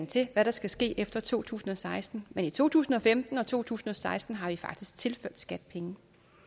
til hvad der skal ske efter to tusind og seksten men i to tusind og femten og to tusind og seksten har vi faktisk tilført skat penge